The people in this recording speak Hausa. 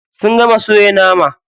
Sun gama soya nama.